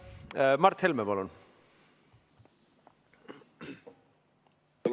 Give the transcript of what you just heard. Mart Helme, palun!